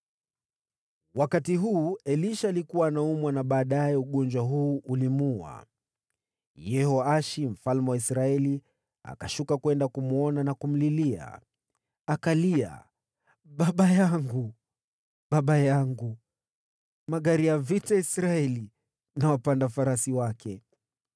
Wakati huu, Elisha alikuwa anaumwa na ugonjwa ambao baadaye ulimuua. Yehoashi mfalme wa Israeli akashuka kwenda kumwona na kumlilia. Akalia, “Baba yangu! Baba yangu! Magari ya vita ya Israeli na wapanda farasi wake!”